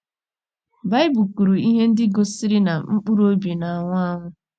Baịbụl kwuru ihe ndị gosiri na mkpụrụ obi na - anwụ anwụ.